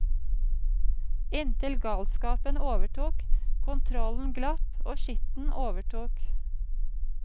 Inntil galskapen overtok, kontrollen glapp og skitten overtok.